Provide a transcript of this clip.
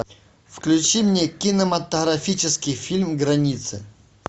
включи мне кинематографический фильм граница